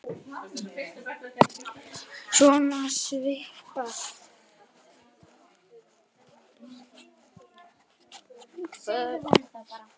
Svona svipað.